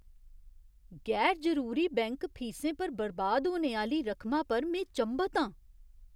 गैर जरूरी बैंक फीसें पर बर्बाद होने आह्‌ली रकमा पर में चंभत आं।